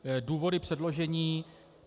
Důvody předložení.